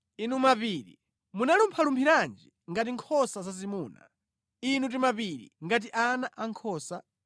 inu mapiri, munalumphalumphiranji ngati nkhosa zazimuna, inu timapiri, ngati ana ankhosa?